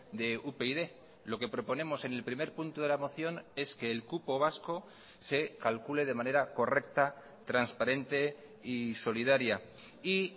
de upyd lo que proponemos en el primer punto de la moción es que el cupo vasco se calcule de manera correcta transparente y solidaria y